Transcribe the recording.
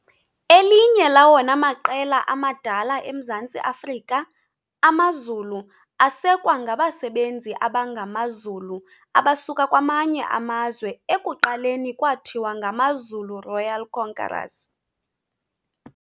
Elinye lawona maqela amadala eMzantsi Afrika, AmaZulu asekwa ngabasebenzi abangamaZulu abasuka kwamanye amazwe ekuqaleni kwathiwa ngamaZulu Royal Conquerors.